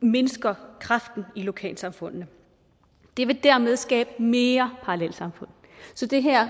mindsker kraften i lokalsamfundene det vil dermed skabe mere parallelsamfund så det her